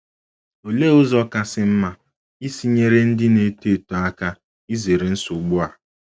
Olee ụzọ kasị mma isi nyere ndị na - eto eto aka izere nsogbu a?